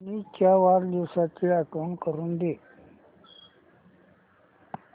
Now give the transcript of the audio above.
मनीष च्या वाढदिवसाची आठवण करून दे